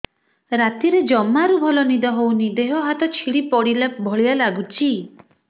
ରାତିରେ ଜମାରୁ ଭଲ ନିଦ ହଉନି ଦେହ ହାତ ଛିଡି ପଡିଲା ଭଳିଆ ଲାଗୁଚି